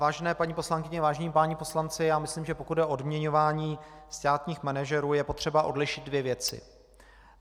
Vážené paní poslankyně, vážení páni poslanci, já myslím, že pokud jde o odměňování státních manažerů, je potřeba odlišit dvě věci.